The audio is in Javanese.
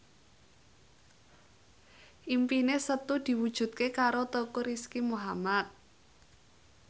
impine Setu diwujudke karo Teuku Rizky Muhammad